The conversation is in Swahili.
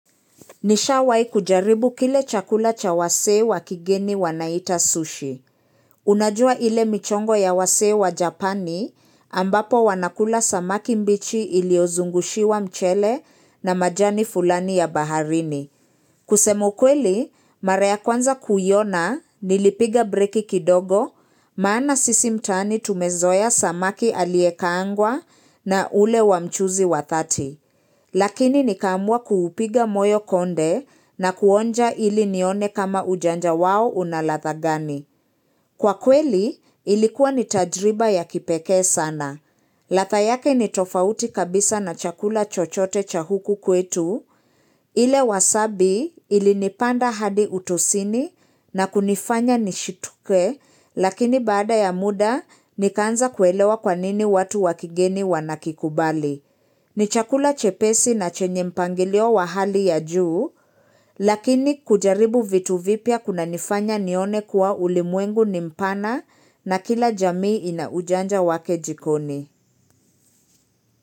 Nishawai kujaribu kile chakula cha wasee wa kigeni wanaita sushi. Unajua ile michongo ya wasee wa japani ambapo wanakula samaki mbichi iliozungushiwa mchele na majani fulani ya baharini. Kusema ukweli, mara ya kwanza kuiona, nilipiga breki kidogo, maana sisi mtaani tumezoea samaki aliyekaangwa na ule wa mchuzi wa dhati Lakini nikaamua kuupiga moyo konde na kuonja ili nione kama ujanja wao una ladha gani. Kwa kweli, ilikuwa ni tajriba ya kipekee sana. Ladha yake ni tofauti kabisa na chakula chochote cha huku kwetu, ile wasabi ilinipanda hadi utosini na kunifanya nishituke, lakini baada ya muda, nikaanza kuelewa kwanini watu wa kigeni wanakikubali. Ni chakula chepesi na chenye mpangilio wa hali ya juu, lakini kujaribu vitu vipya kunanifanya nione kuwa ulimwengu nimpana na kila jamii ina ujanja wake jikoni.